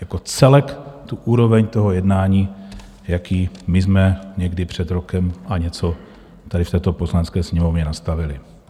Jako celek tu úroveň toho jednání, jakou my jsme někdy před rokem a něco tady v této Poslanecké sněmovně nastavili.